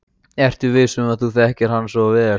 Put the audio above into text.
Ertu viss um að þú þekkir hann svo vel?